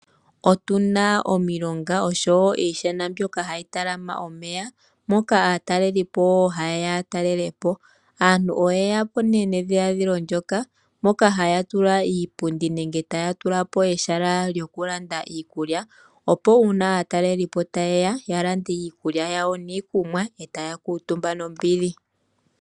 Otuna omilonga osho woo iishana mbyoka hayi tala ma omeya noyili hayi hili aataleliipo ye ye yatelelepo. Aantu oye ya po nee nedhiladhilo lyoka mo ka haya tula iipundi pooha dhomeya nenge taya tula pooha dhomayala ngoka ha pu landithilwa iikulya opo uuna aataleliipo ta ye ya yavule okulanda iikulya nosho woo iikunwa yawo e taya kuutumba nee kiipundi mbyoka.